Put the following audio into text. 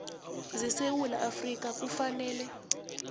zesewula afrika kufanele